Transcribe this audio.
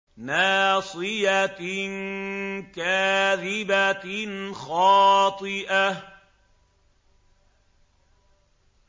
نَاصِيَةٍ كَاذِبَةٍ خَاطِئَةٍ